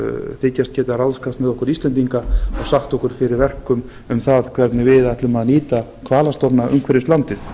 þykjast geta ráðskast með okkur íslendinga og sagt okkur fyrir verkum um það hvernig við ætlum að nýta hvalastofna umhverfis landið